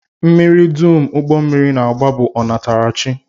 Mmiri dum ụgbọmmiri na-agba bụ ọnatarachi